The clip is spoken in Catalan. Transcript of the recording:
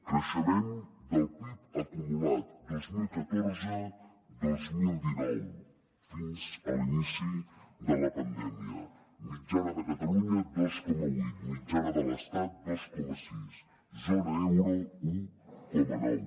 creixement del pib acumulat dos mil catorze dos mil dinou fins a l’inici de la pandèmia mitjana de catalunya dos coma vuit mitjana de l’estat dos coma sis zona euro un coma nou